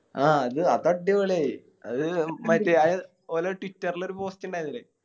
ആ അത് അതടിപൊളിയായി അത് മറ്റേ ആ ഓലെ Twitter ല് ഒര് Post ഇണ്ടാരുന്നിലെ